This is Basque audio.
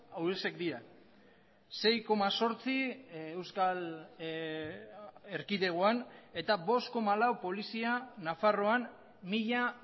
hauexek dira sei koma zortzi euskal erkidegoan eta bost koma lau polizia nafarroan mila